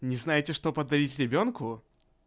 не знаете что подарить ребёнку